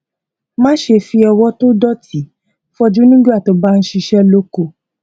má ṣe fi ọwọ tó ti dòtí fọ ojú nígbà tó o bá ń ṣiṣẹ lóko